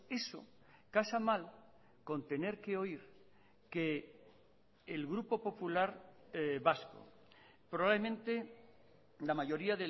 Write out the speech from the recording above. eso casa mal con tener que oír que el grupo popular vasco probablemente la mayoría